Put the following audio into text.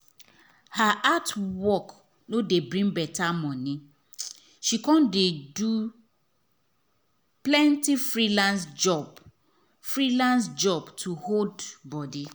her art work no dey bring better money she come dey do plenty freelance job freelance job to hold body